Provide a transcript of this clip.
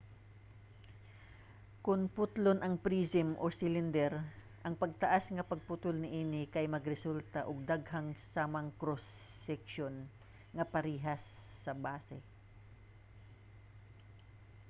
kon putlon ang prism o cylinder ang pataas nga pagputol niini kay magresulta og daghang samang cross-section nga parehas sa base